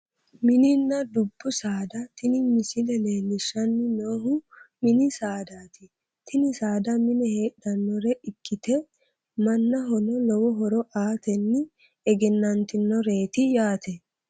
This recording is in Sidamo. Mininna dubbu saada tini misile leellishshanni noohu mini saadaati tini saada mine heedhannore ikkite mannahono lowo horo aatenni egennantinoreeti yaate